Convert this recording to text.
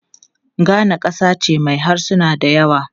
Ghana kasa ce mai harsuna da yawa.